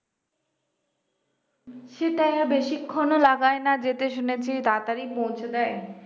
সেটা বেশিক্ষন ও লাগায় না যেতে শুনেছি তাড়াতাড়ি পৌঁছে দেয়